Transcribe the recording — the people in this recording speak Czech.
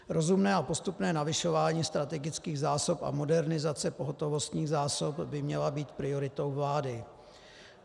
Rozumné a postupné navyšování strategických zásob a modernizace pohotovostních zásob by měly být prioritou vlády.